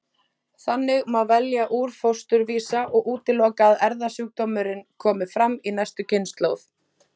Þannig má velja úr fósturvísa og útiloka að erfðasjúkdómurinn komi fram í næstu kynslóð.